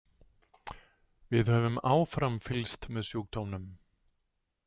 Við höfum áfram fylgst með sjúkdómnum.